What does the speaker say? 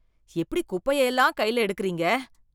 எப்படி குப்பைய எல்லாம் கைல எடுக்கறீங்க